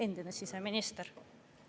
Endine siseminister küll.